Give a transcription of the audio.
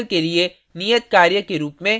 इस tutorial के लिए नियत कार्य के रुप में